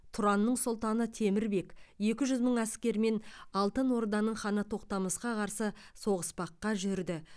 тұранның сұлтаны темір бек екі жүз мың әскермен алтын орданың ханы тоқтамысқа қарсы соғыспаққа жүрді